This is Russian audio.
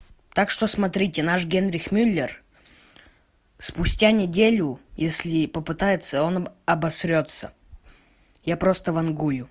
так что смотрите наш генрих мюллер спустя неделю если попытается он обосрётся я просто вангую